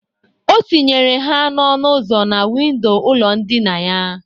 O tinyere ha n'ọnụ uzo na windo ụlọ ndịna ya.